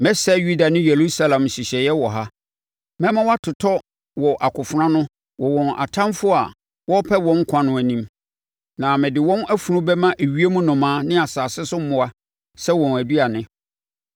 “ ‘Mɛsɛe Yuda ne Yerusalem nhyehyɛeɛ wɔ ha. Mɛma wɔatotɔ wɔ akofena ano wɔ wɔn atamfoɔ a wɔrepɛ wɔn nkwa no anim, na mede wɔn afunu bɛma ewiem nnomaa ne asase so mmoa sɛ wɔn aduane.